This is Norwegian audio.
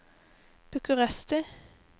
Bucuresti